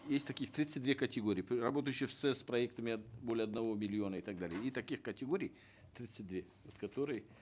есть таких тридцать две категории работающих с проектами более одного миллиона и так далее и таких категорий тридцать две которые